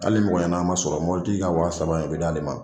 Hali ni mɔgɔ ɲanama man sɔrɔ mɔbili tigi ka wa saba bɛ d'ale ma.